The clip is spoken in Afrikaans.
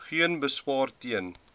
geen beswaar teen